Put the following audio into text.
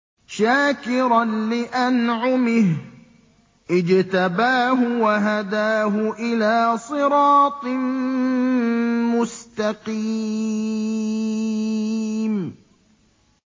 شَاكِرًا لِّأَنْعُمِهِ ۚ اجْتَبَاهُ وَهَدَاهُ إِلَىٰ صِرَاطٍ مُّسْتَقِيمٍ